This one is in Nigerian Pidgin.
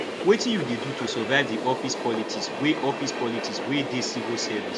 wetin you dey do to survive di office politics wey office politics wey dey civil service